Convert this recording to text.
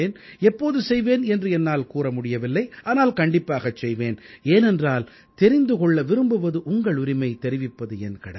எப்போது செய்வேன் என்று என்னால் கூற முடியவில்லை ஆனால் கண்டிப்பாகச் செய்வேன் ஏனென்றால் தெரிந்து கொள்ள விரும்புவது உங்கள் உரிமை தெரிவிப்பது என் கடமை